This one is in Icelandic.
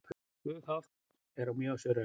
Flughált er á Mývatnsöræfum